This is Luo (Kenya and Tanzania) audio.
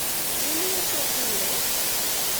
in uso kure?